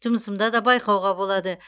жұмысымда да байқауға болады